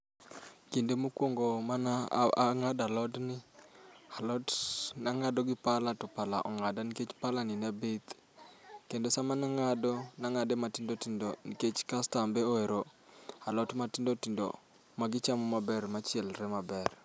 Kinde mokuongo mane ang'ado alodni, alot ne ang'ado gi pala to pala ong'ada nikech palani ne bith. Kane ang'ado ne ang'ado matindo tindo nikech kastambe ohero alot matindo tindo magichamo maber, machiekre maber.